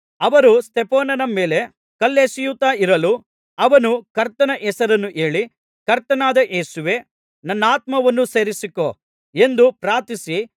ಅವರು ಸ್ತೆಫನನ ಮೇಲೆ ಕಲ್ಲೆಸೆಯುತ್ತಾ ಇರಲು ಅವನು ಕರ್ತನ ಹೆಸರನ್ನು ಹೇಳಿ ಕರ್ತನಾದ ಯೇಸುವೇ ನನ್ನಾತ್ಮವನ್ನು ಸೇರಿಸಿಕೋ ಎಂದು ಪ್ರಾರ್ಥಿಸಿ